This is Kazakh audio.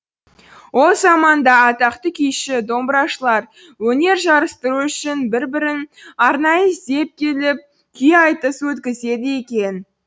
ол заманда атақты күйші домбырашылар өнер жарыстыру үшін бір бірін арнайы іздеп келіп күй айтыс өткізеді екен